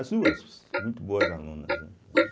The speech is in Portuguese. As duas, muito boas alunas, né eh.